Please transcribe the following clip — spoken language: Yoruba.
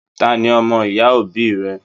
Taní ọmọ-ìyá òbí rẹ?